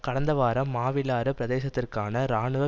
கடந்த வாரம் மாவிலாறு பிரதேசத்திற்கான இராணுவ